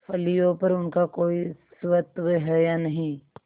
फलियों पर उनका कोई स्वत्व है या नहीं